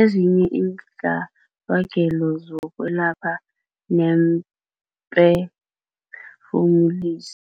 ezinye iintlabagelo zokwelapha neemphe-fumulisi.